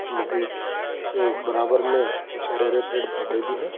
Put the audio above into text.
इस नदी के बराबर में कुछ हरे हरे पेड़ पौधे भी हैं।